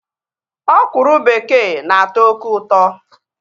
Ọkwụrụ bekee na-atọ oké ụtọ